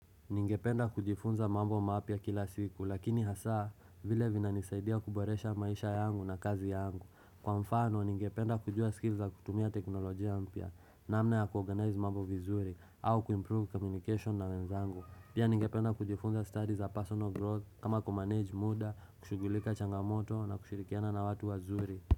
Ningependa kujifunza mambo mapya kila siku lakini hasa vile vina nisaidia kuboresha maisha yangu na kazi yangu. Kwa mfano ningependa kujua skills za kutumia teknolojia mpya namna ya kuorganize mambo vizuri au kuimprove communication na wenzangu. Pia ningependa kujifunza studies za personal growth kama kumanage muda, kushughulika changamoto na kushirikiana na watu wazuri.